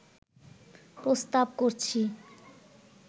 প্রস্তাব করছি